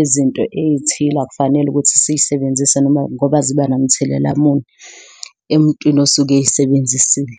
izinto ey'thile akufanele ukuthi sisebenzise noma ngoba ziba nomthelela muni emuntwini osuke eyisebenzisile.